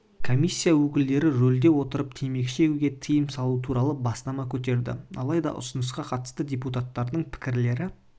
комиссия өкілдері рөлде отырып темекі шегуге тиым салу туралы бастама көтерді алайда ұсынысқа қатысты депутаттардың пікірлері